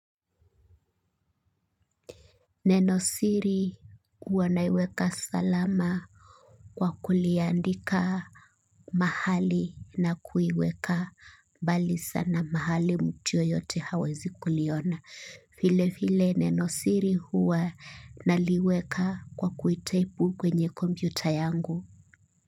Nenosiri huwa naiweka salama kwa kuliandika mahali na kuiweka mbali sana mahali mtu yeyote hawezi kuliona. Vile vile nenosiri huwa naliweka kwa kuitaipu kwenye kompyuta yangu.